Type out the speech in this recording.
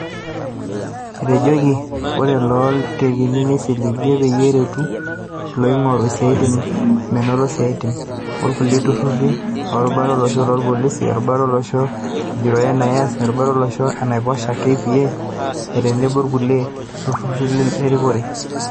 Etejoki ore looitekini neisiligia peyie eretu ilooingoru isaitin menoto isiatin, olkulia tururi, erubata olosho lolpolisi, erubata olosho ejurore (NIS), erubata olosho enaiposha (KPA), otenebo ilkulia tururi le rikore.